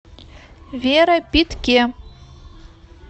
вера питке